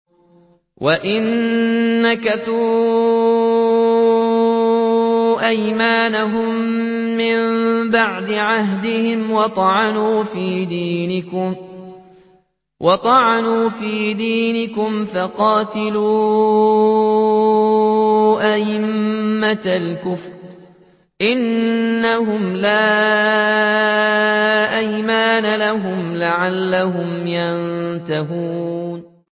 وَإِن نَّكَثُوا أَيْمَانَهُم مِّن بَعْدِ عَهْدِهِمْ وَطَعَنُوا فِي دِينِكُمْ فَقَاتِلُوا أَئِمَّةَ الْكُفْرِ ۙ إِنَّهُمْ لَا أَيْمَانَ لَهُمْ لَعَلَّهُمْ يَنتَهُونَ